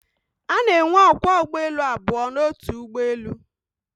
A na-enwe ókwá ụgbọelu abụọ n'otu ụgbọelu